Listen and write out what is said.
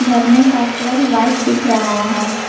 झरने का colour white दिख रहा है।